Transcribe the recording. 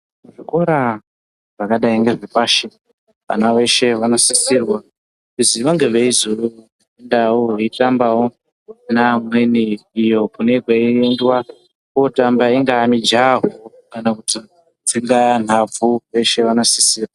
Zvikora zvakadai ngezvepashi vana veshe vanosisirwawo kuziva ngezvezviriyo vaitambawo neamweni iyo kunenge kwaitambwa ingaa mijaho kana kutsika nhabvu veshe vanosisirwa.